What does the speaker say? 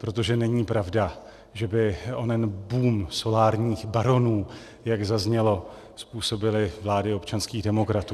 Protože není pravda, že by onen boom solárních baronů, jak zaznělo, způsobily vlády občanských demokratů.